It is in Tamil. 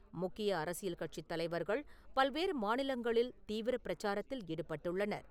முக்கிய அரசியல் கட்சித் தலைவர்கள் பல்வேறு மாநிலங்களில் தீவிரப் பிரச்சாரத்தில் ஈடுபட்டுள்ளனர்.